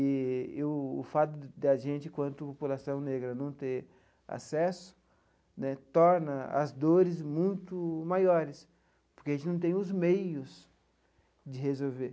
Eee e o fato da gente, enquanto população negra, não ter acesso né torna as dores muito maiores, porque a gente não tem os meios de resolver.